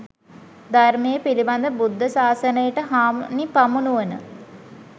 ධර්මය පිළිබඳව බුද්ධ ශාසනයට හානි පමුණුවන